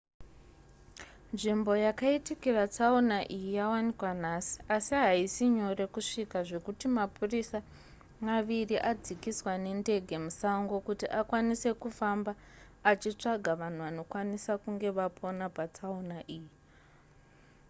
nzvimbo yakaitikira tsaona iyi yawanikwa nhasi asi haisi nyore kusvika zvekuti mapurisa maviri adzikiswa nendege musango kuti akwanise kufamba achitsvaga vanhu vanokwanisa kunge vapona patsaona iyi